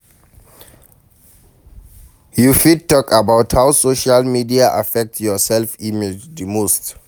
You fit talk about how social media affect your self-image di most.